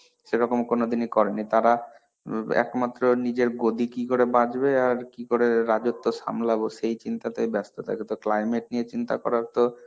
সেরকম কোনদিনই করে নি. তারা ইম একমাত্র নিজের গদি কিকরে বাঁচবে আর কিকরে রাজত্ব সামলাবো সেই চিন্তাতেই ব্যাস্ত থাকে. তো climate নিয়ে চিন্তা করার তো